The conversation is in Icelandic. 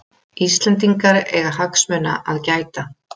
Íslendingar eiga hagsmuna að gæta